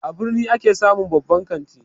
A birni ake samun babban kanti